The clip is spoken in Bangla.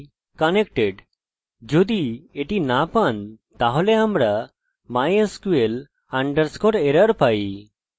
এটি চেষ্টা করি i dont exist এবং রিফ্রেশ করি এবং unknown database idontexist